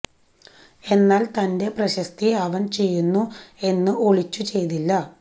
എന്നാൽ തന്റെ പ്രശസ്തി അവൻ ചെയ്യുന്നു എന്നു ഒളിച്ചു ചെയ്തില്ല